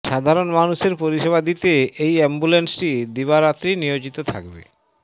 সাধারন মানুষের পরিষেবা দিতে এই অ্যাম্বুলেন্সটি দিবারাত্রি নিয়োজিত থাকবে